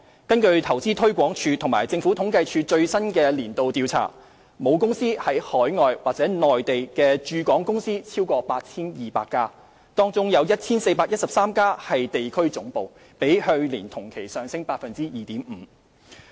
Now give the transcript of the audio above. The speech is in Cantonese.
根據投資推廣署和政府統計處最新的年度調查，母公司在海外或內地的駐港公司超過 8,200 家，當中有 1,413 家為地區總部，較去年同期上升 2.5%。